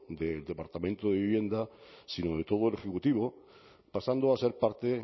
del departamento de vivienda sino de todo el ejecutivo pasando a ser parte